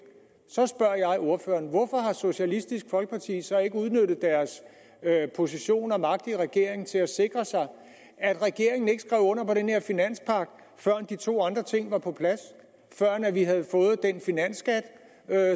så spørger jeg ordføreren hvorfor har socialistisk folkeparti så ikke udnyttet deres position og magt i regeringen til at sikre sig at regeringen ikke skrev under på den her finanspagt førend de to andre ting var på plads førend vi havde fået den finansskat